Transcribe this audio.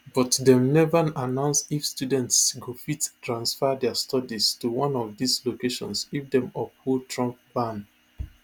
but dem never announce if students go fit transfer dia studies to one of dis locations if dem uphold trump ban